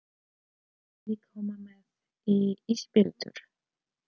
Viljiði koma með í ísbíltúr?